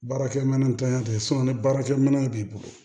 Baarakɛminɛntanya tɛ ni baarakɛminɛn b'i bolo